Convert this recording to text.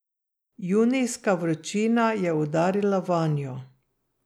Junijska vročina je udarila vanjo.